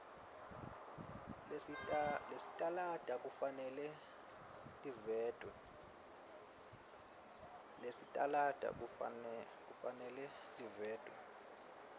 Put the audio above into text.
lesitalada kufanele livetwe